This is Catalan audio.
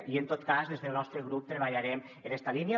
i en tot cas des del nostre grup treballarem en esta línia